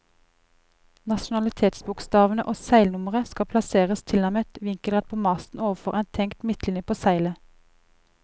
Nasjonalitetsbokstavene og seilnummeret skal plasseres tilnærmet vinkelrett på masten ovenfor en tenkt midtlinje på seilet.